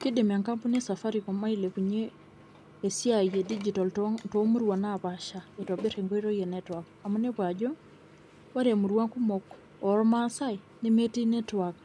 Kiidim enkampuni esafaricom ailepunyie esiai e digital too murua naapasha itobir enkoitoi e network amu inepu ajo ore imurua kumok ilmaasai nemetii network